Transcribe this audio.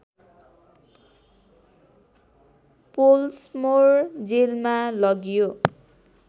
Pollsmoor जेलमा लगियो